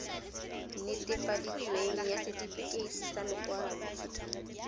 netefaditsweng ya setefikeiti sa lokwalo